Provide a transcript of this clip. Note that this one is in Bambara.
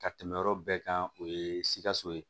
Ka tɛmɛ yɔrɔ bɛɛ kan o ye sikaso ye